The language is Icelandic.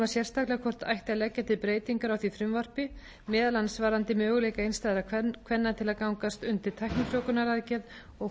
sérstaklega hvort leggja ætti til breytingar á því frumvarpi meðal annars varðandi möguleika einstæðra kvenna til að gangast undir tæknifrjóvgunaraðgerð og